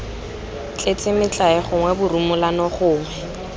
tletse metlae gongwe borumolano gongwe